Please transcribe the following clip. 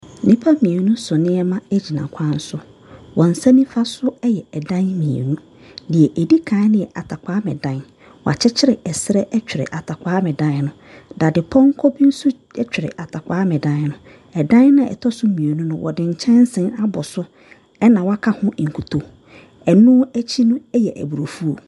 Nnipa mmienu so nneɛma agyina kwanso. Wɔn ɛnsa nnifa so yɛ ɛdan mmienu. Die edi kan no yɛ attakwame dan. W'akyi kyire ɛsrɛ atwere attakwame dan no. Dadepɔnkɔ bi nso ɛtwerɛ attakwame dan no. Ɛdan na ɛtɔ so mmienu no, wɔde nkyɛnsee na abɔ so ɛna waka ho nkuto. Ɛno akyi no ayɛ aburo afuo.